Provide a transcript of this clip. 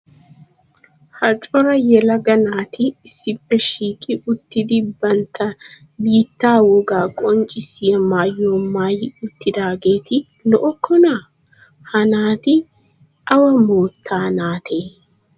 Ha cora yelaga naati issippe shiiqi uttidi bantta biittaa wogaa qonccissiya maayuwa maayi uttidaageeti lo"okkonaa? Ha naati awa moottaa naatee?